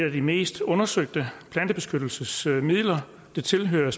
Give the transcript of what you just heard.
af de mest undersøgte plantebeskyttelsesmidler det tilhører